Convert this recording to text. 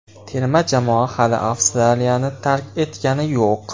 Terma jamoa hali Avstraliyani tark etgani yo‘q.